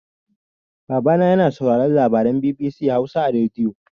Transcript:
Babana yana sauraron labaran BBC Hausa a rediyo.